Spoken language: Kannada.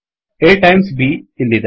A timesಟೈಮ್ಸ್ B ಇಲ್ಲಿದೆ